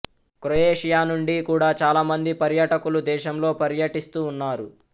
Croatia నుండి కూడా చాలా మంది పర్యాటకులు దేశంలో పర్యటిస్తూ ఉన్నారు